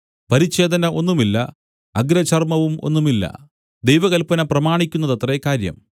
പരിച്ഛേദന ഒന്നുമില്ല അഗ്രചർമവും ഒന്നുമില്ല ദൈവകല്പന പ്രമാണിക്കുന്നതത്രേ കാര്യം